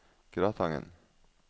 Gratangen